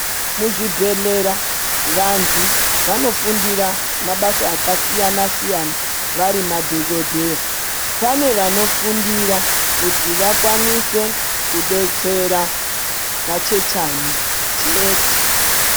Muzvibhedhlera vantu vanofundira mabasa akasiyana siyana vari madhokodheya pane vanofundira kuti vakwanise kudetsera machechani chete.